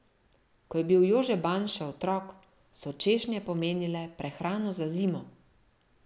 Ko je bil Jože Ban še otrok, so češnje pomenile prehrano za zimo.